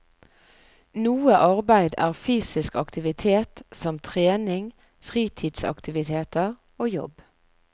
Noe arbeid er fysisk aktivitet, som trening, fritidsaktiviteter og jobb.